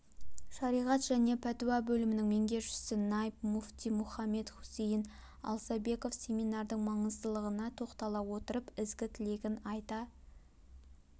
шариғат және пәтуа бөлімінің меңгерушісі найб муфти мұхаммед хусейн алсабеков семинардың маңыздылығына тоқтала отырып ізгі-тілегін айта